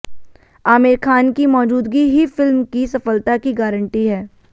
आमिर खान की मौजूदगी ही फिल्म की सफलता की गारंटी है